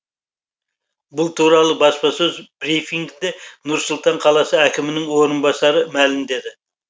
бұл туралы баспасөз брифингінде нұр сұлтан қаласы әкімінің орынбасары мәлімдеді